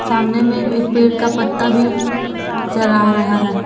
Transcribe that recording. सामने में एक पेड़ का पत्ता भी नजर आ रहा है।